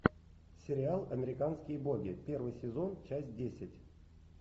сериал американские боги первый сезон часть десять